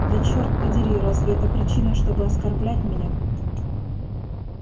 да чёрт подери разве это причина чтобы оскорблять меня